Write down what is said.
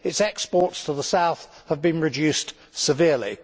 Its exports to the South have been reduced severely.